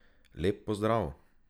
Lep pozdrav!